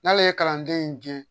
N'ale ye kalanden in gɛn